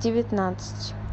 девятнадцать